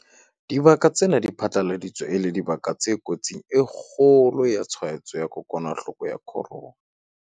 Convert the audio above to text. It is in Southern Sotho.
Dibaka tsena di phatlaladitswe e le dibaka tse kotsing e kgolo ya tshwaetso ya kokwanahloko ya corona.